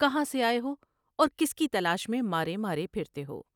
کہاں سے آئے ہو اور کس کی تلاش میں مارے مارے پھرتے ہو ؟